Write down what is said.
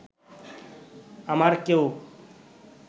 আমার কেউ